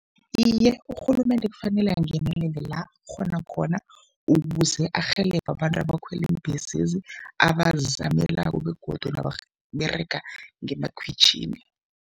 Iye, urhulumende kufanele angenelele la akghona khona ukuze arhelebhe abantu abakhwela iimbhesezi, abazizamelako begodu nababerega ngemakhwitjhini.